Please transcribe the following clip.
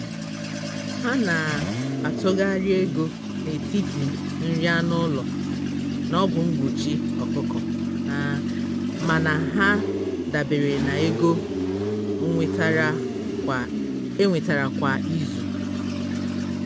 ha na-atụgharị ego n'etiti nri anụ ụlọ na ọgwụ mgbochi ọkụkọ. mana ha dabere na ego enwetara kwa izu